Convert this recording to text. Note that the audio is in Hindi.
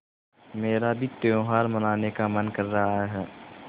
मेरा भी त्यौहार मनाने का मन कर रहा है